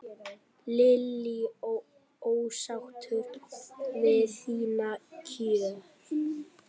Lillý: Ósáttur við þín kjör?